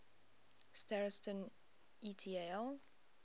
starostin et al